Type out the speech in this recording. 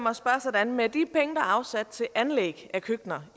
at man har køkkener